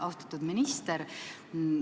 Austatud minister!